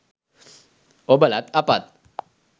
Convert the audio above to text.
ඔබලත් අපත්